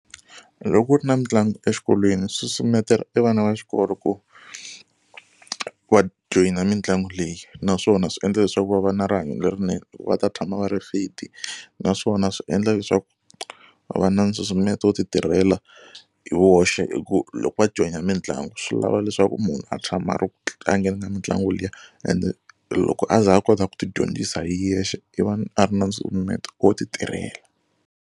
Loko ku ri na mitlangu exikolweni swi susumetela e vana va xikolo ku va joyina mitlangu leyi naswona swi endla leswaku va va na rihanyo lerinene va ta tshama va ri fit naswona swi endla leswaku va va na nsusumeto wo ti tirhela hi voxe hi ku loko va joyina mitlangu swi lava leswaku munhu a tshama a ri ku tlangeni ka mitlangu liya and loko a ze a kota ku tidyondzisa hi yexe i va a ri na nsusumeto wo ti tirhela.